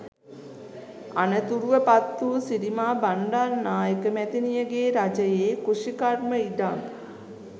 අනතුරුව පත්වූ සිරිමා බණ්ඩාරනායක මැතිනියගේ රජයේ කෘෂිකර්ම ඉඩම්